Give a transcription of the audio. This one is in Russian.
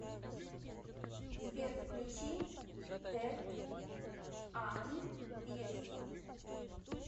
сбер включи дэрт ан бесо